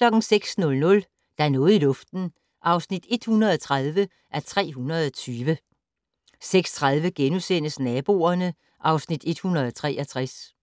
06:00: Der er noget i luften (130:320) 06:30: Naboerne (Afs. 163)*